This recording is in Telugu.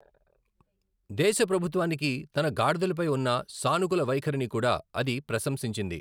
దేశ ప్రభుత్వానికి తన గాడిదలపై ఉన్న సానుకూల వైఖరిని కూడా అది ప్రశంసించింది.